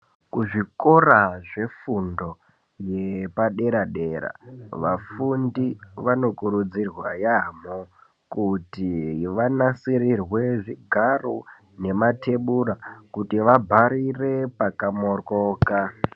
Kuzvikora zvefundo yepadera dera vafundi vanokurudzirwa yamho kuti vanasirirwe zvigaro nematebura kuti vabharire pakamoryoka.